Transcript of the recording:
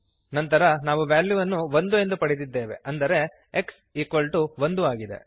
ನಂತರ ನಾವು ವ್ಯಾಲ್ಯುವನ್ನು 1 ಎಂದು ಪಡೆದಿದ್ದೇವೆ ಅಂದರೆ x 1 ಆಗಿದೆ